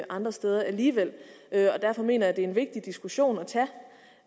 andre steder alligevel derfor mener jeg det er en vigtig diskussion